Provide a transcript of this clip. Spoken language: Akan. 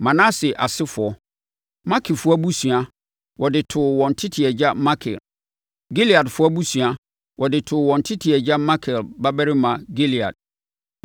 Manase asefoɔ: Makirfoɔ abusua, wɔde too wɔn tete agya Makir. Gileadfoɔ abusua, wɔde too wɔn tete agya, Makir babarima, Gilead.